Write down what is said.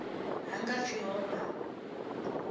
ha nga pfi ho vha